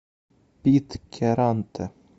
питкяранте